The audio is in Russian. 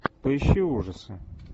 поищи ужасы